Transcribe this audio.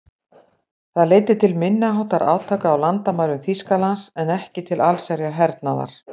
Það leiddi til minniháttar átaka á landamærum Þýskalands en ekki til allsherjar hernaðar.